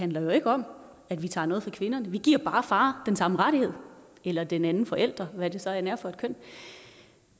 handler jo ikke om at vi tager noget fra kvinderne men vi giver bare far den samme rettighed eller den anden forælder hvad det så end er for et køn